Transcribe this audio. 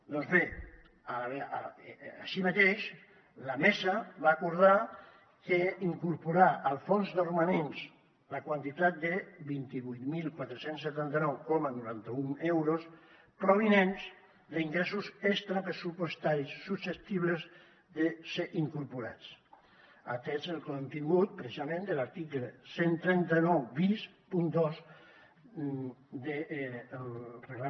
doncs bé així mateix la mesa va acordar incorporar al fons de romanents la quantitat de vint vuit mil quatre cents i setanta nou coma noranta un euros provinents d’ingressos extrapressupostaris susceptibles de ser incorporats atès el contingut precisament de l’article cent i trenta nou bis punt dos dels ergi